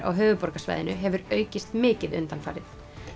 á höfuðborgarsvæðinu hefur aukist mikið undanfarið